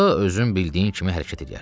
Onda özün bildiyin kimi hərəkət eləyərsən.